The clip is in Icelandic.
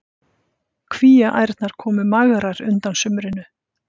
Kvíaærnar komu magrar undan sumrinu.